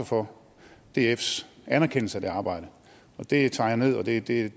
for dfs anerkendelse af det arbejde det tager jeg ned og det det